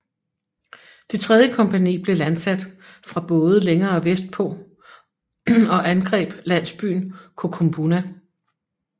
Det tredje kompagni blev landsat fra både længere vestpå og angreb landsbyen Kokumbuna